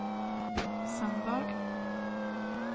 söndag